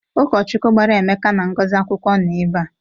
Ụkọchukwu gbara Emeka na Ngozi akwụkwọ nọ ebe a.